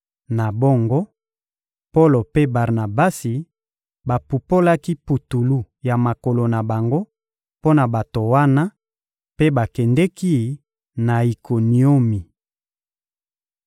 Na bongo, Polo mpe Barnabasi bapupolaki putulu ya makolo na bango mpo na bato wana, mpe bakendeki na Ikoniomi.